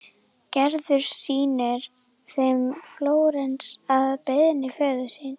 Gerður sýnir þeim Flórens að beiðni föður síns.